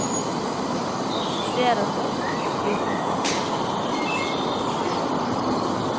Han studerer norsk og blir forfatter. punktum